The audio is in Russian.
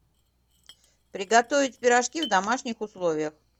приготовить пирожки в домашних условиях